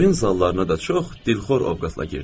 Oyun zallarına da çox dilxor ovqatla girdim.